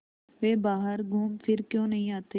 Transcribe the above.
वे बाहर घूमफिर क्यों नहीं आते